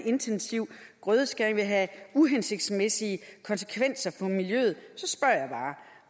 intensiv grødeskæring vil have uhensigtsmæssige konsekvenser for miljøet